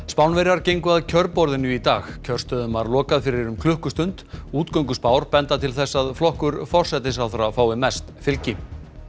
Spánverjar gengu að kjörborðinu í dag kjörstöðum var lokað fyrir klukkustund benda til þess að flokkur forsætisráðherra fái mest fylgi